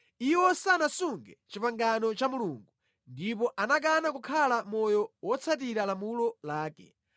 iwo sanasunge pangano la Mulungu ndipo anakana kukhala mʼmoyo wotsatira lamulo lake.